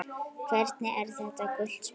Hvernig er þetta gult spjald?